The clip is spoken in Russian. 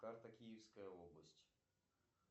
карта киевская область